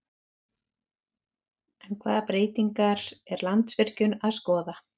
En hvaða breytingar er Landsvirkjun að skoða?